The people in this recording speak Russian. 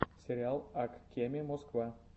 сериал ак кеме москва